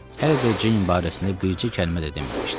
Hələ də Jane barəsində bircə kəlmə də deməmişdi.